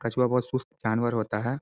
कछुआ बहुत सुस्त जानवर होता है।